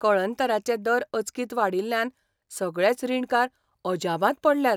कळंतराचे दर अचकीत वाडिल्ल्यान सगळेच रीणकार अजापांत पडल्यात.